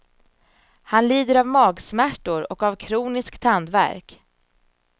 Han lider av magsmärtor och av kronisk tandvärk.